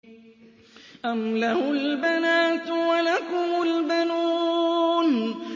أَمْ لَهُ الْبَنَاتُ وَلَكُمُ الْبَنُونَ